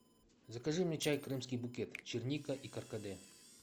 закажи мне чай крымский букет черника и каркаде